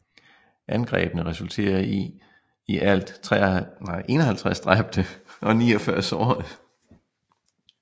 Angrebene resulterede i i alt 51 dræbte og 49 sårede